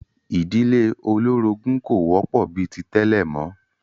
Ìdílé olórogún kò wọ́pọ̀ bi ti tẹ́lẹ̀ mọ́